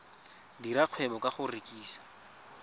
dira kgwebo ka go rekisa